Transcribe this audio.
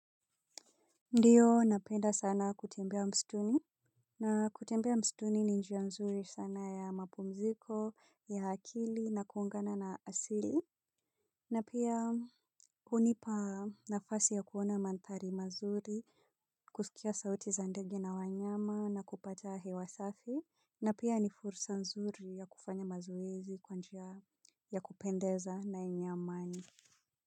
Ndiyo napenda sana kutembea msituni. Na kutembea msituni ni njia nzuri sana ya mapumziko ya akili na kuungana na asili. Na pia hunipa nafasi ya kuona mandhari mazuri kusikia sauti za ndege na wanyama na kupata hewa safi. Na pia ni fursa nzuri ya kufanya mazoezi kwa njia ya kupendeza na yenye amani.